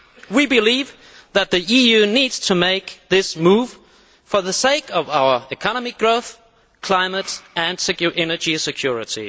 We believe that the EU needs to make this move for the sake of our economic growth, climate and energy security.